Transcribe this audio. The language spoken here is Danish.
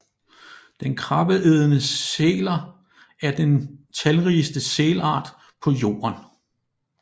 De krabbeædende sæler er den talrigeste sælart på jorden